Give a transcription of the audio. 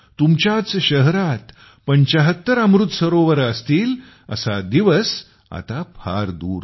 तुमच्याच शहरात ७५ अमृत सरोवरे असतील असा दिवस आता फार दूर नाही